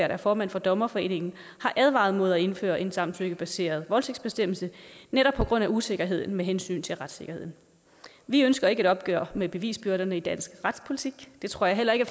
er formand for dommerforeningen har advaret mod at indføre en samtykkebaseret voldtægtsbestemmelse netop på grund af usikkerheden med hensyn til retssikkerheden vi ønsker ikke et opgør med bevisbyrderne i dansk retspolitik det tror jeg heller ikke